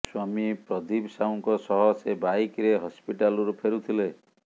ସ୍ବାମୀ ପ୍ରଦୀପ ସାହୁଙ୍କ ସହ ସେ ବାଇକ୍ ରେ ହସ୍ପିଟାଲରୁ ଫେରୁଥିଲେ